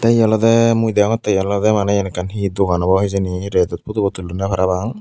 te hiolodey mui degongotte iyan olode maney he dogan obow hijeni redot pudubo tullonde parapang.